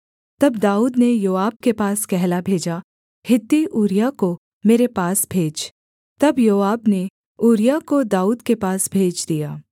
तब दाऊद ने योआब के पास कहला भेजा हित्ती ऊरिय्याह को मेरे पास भेज तब योआब ने ऊरिय्याह को दाऊद के पास भेज दिया